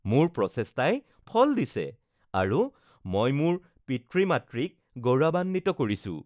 মোৰ প্ৰচেষ্টাই ফল দিছে আৰু মই মোৰ পিতৃ-মাতৃক গৌৰৱান্বিত কৰিছো